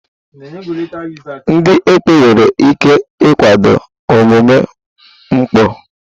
Ndị ekpo nwere ike ịkwado omume mpụ